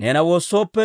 neena woossooppe,